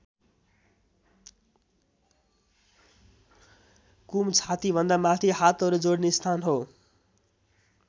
कुम छाति भन्दा माथि हातहरू जोडिने स्थान हो।